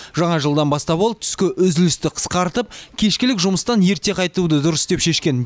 жаңа жылдан бастап ол түскі үзілісті қысқартып кешкілік жұмыстан ерте қайтуды дұрыс деп шешкен